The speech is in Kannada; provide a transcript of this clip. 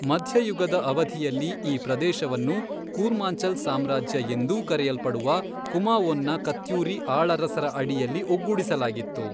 ಮಧ್ಯಯುಗದ ಅವಧಿಯಲ್ಲಿ, ಈ ಪ್ರದೇಶವನ್ನು 'ಕೂರ್ಮಾಂಚಲ್ ಸಾಮ್ರಾಜ್ಯ' ಎಂದೂ ಕರೆಯಲ್ಪಡುವ ಕುಮಾವೋನ್ನ ಕತ್ಯೂರಿ ಆಳರಸರ ಅಡಿಯಲ್ಲಿ ಒಗ್ಗೂಡಿಸಲಾಗಿತ್ತು.